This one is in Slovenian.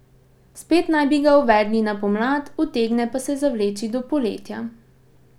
Spet naj bi ga uvedli na pomlad, utegne pa se zavleči do poletja.